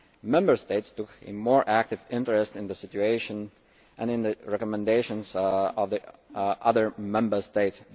Member States took a more active interest in the situation and in the recommendations of the other Member States.